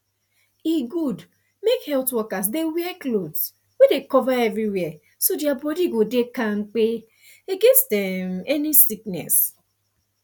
e good make health workers dey wear cloth wey cover everywhere so their body go dey kampe against um any sickness